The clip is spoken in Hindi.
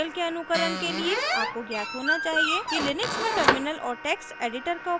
इस ट्यूटोरियल के अनुकरण के लिए आपको ज्ञात होना चाहिए कि लिनक्स में टर्मिनल और टेक्स्ट एडिटर का उपयोग कैसे करें